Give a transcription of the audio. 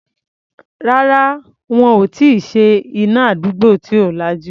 Rárá, wọn ò tí ì ṣe iná àdúgbò tí ò lajú.